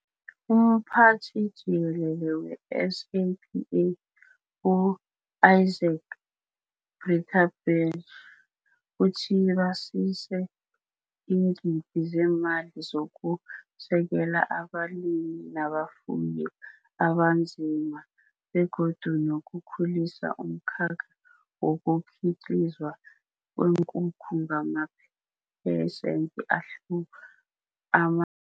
UMphathi Jikelele we-SAPA u-Izaak Breitenbach uthi basise iingidi zemali zoku sekela abalimi nabafuyi aba nzima begodu nokukhulisa umkhakha wokukhiqizwa kweenkukhu ngamaphe sende ama